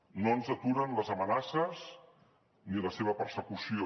no ens aturen les amenaces ni la seva persecució